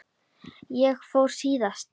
Ég fór síðast.